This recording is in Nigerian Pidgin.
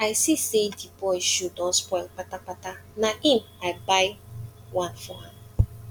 i see sey di boy shoe don spoil kpatakpata na im i buy one for am